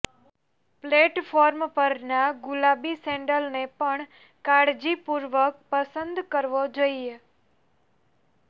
platform પરના ગુલાબી સેન્ડલને પણ કાળજીપૂર્વક પસંદ કરવો જોઈએ